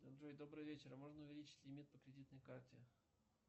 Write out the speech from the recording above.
джой добрый вечер можно увеличить лимит по кредитной карте